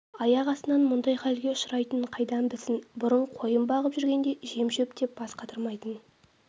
аяқ астынан мұндай халге ұшырайтынын қайдан білсін бұрын қойын бағып жүргенде жем-шөп деп бас қатырмайтын